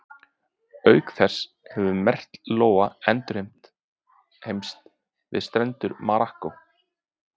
Auk þess hefur merkt lóa endurheimst við strendur Marokkó.